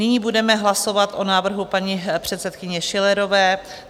Nyní budeme hlasovat o návrhu paní předsedkyně Schillerové.